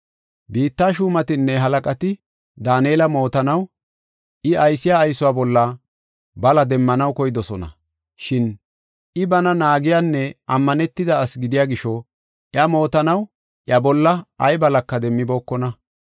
Biitta shuumatinne halaqati Daanela mootanaw, I aysiya aysuwa bolla bala demmanaw koydosona. Shin I, bana naagiyanne ammanetida asi gidiya gisho, iya mootanaw iya bolla ay balaka demmibookona.